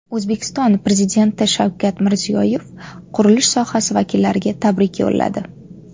O‘zbekiston Prezidenti Shavkat Mirziyoyev qurilish sohasi vakillariga tabrik yo‘lladi.